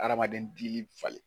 Adamaden dili bɛ falen.